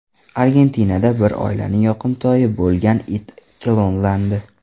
Argentinada bir oilaning yoqimtoyi bo‘lgan it klonlandi.